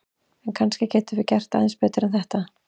En kannski getum við gert aðeins betur en þetta!